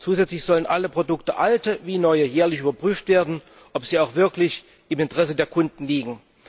Zusätzlich sollen alle Produkte alte wie neue jährlich überprüft werden, ob sie auch wirklich im Interesse der Kunden liegen.